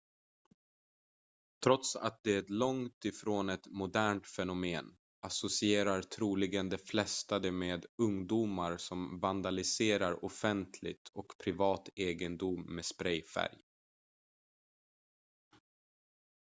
trots att det är långt ifrån ett modernt fenomen associerar troligen de flesta det med ungdomar som vandaliserar offentlig och privat egendom med sprayfärg